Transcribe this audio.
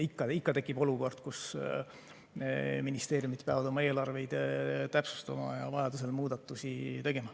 Ikka tekib olukord, kus ministeeriumid peavad oma eelarveid täpsustama ja vajadusel muudatusi tegema.